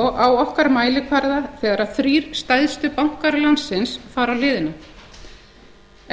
og á okkar mælikvarða þegar þrír stærstu bankar landsins fara á hliðina